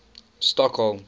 stockholm